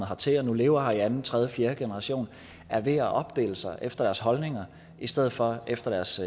hertil og nu lever her i anden tredje fjerde generation er ved at opdele sig efter deres holdninger i stedet for efter deres